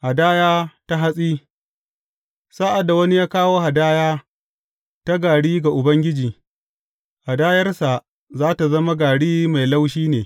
Hadaya ta hatsi Sa’ad da wani ya kawo hadaya ta gari ga Ubangiji, hadayarsa za tă zama gari mai laushi ne.